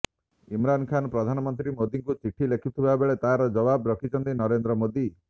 ଇମରାନ ଖାନ ପ୍ରଧାନମନ୍ତ୍ରୀ ମୋଦିଙ୍କୁ ଚିଠି ଲେଖିଥିବାବେଳେ ତାର ଜବାବ ରଖିଛନ୍ତି ନରେନ୍ଦ୍ର ମୋଦି